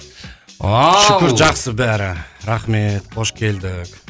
ал шүкір жақсы бәрі рахмет қош келдік